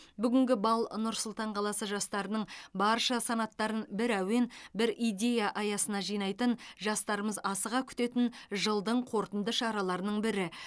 бүгінгі бал нұр сұлтан қаласы жастарының барша санаттарын бір әуен бір идея аясына жинайтын жастарымыз асыға күтетін жылдың қорытынды шараларының бірі